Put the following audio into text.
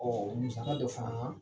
musaka dɔ fana